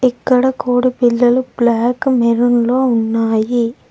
ఇక్కడ కోడి పిల్లలు బ్లాక్ మెరూన్ లొ ఉన్నాయి.